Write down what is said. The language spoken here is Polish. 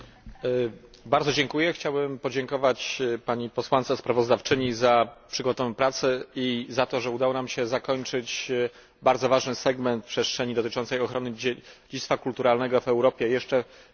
Chciałbym podziękować pani posłance sprawozdawczyni za przygotowaną pracę i za to, że udało nam się zakończyć bardzo ważny segment przestrzeni dotyczącej ochrony dziedzictwa kulturalnego w Europie jeszcze w tej kadencji Parlamentu.